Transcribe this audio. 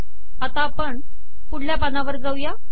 आता आपण पुढल्या पानावर जाऊ